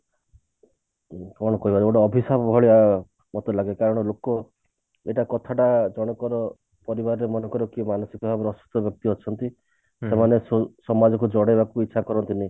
କଣ କହିବା ଗୋଟେ ଅଭିଶାପ ଭଳିଆ ମତେ ଲାଗେ କାରଣ ଲୋକ ଗୋଟା କଥାଟା ଜଣଙ୍କର ପରିବାରରେ ମନେକର କିଏ ମାନସିକ ଭାବରେ ଅସୁସ୍ଥ ବ୍ୟକ୍ତି ଅଛନ୍ତି ସେମାନେ ସେଇ ସମାଜକୁ ଜଣେଇବାକୁ ଇଛା କରନ୍ତି ନି